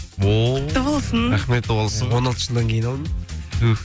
о құтты болсын он алты жылдан кейін алдым түһ